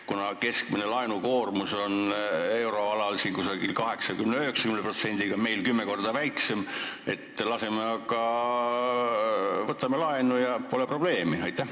Kuna keskmine laenukoormus on euroalal 80–90% ning meil kümme korda väiksem, siis aga võtame laenu ja pole probleemi?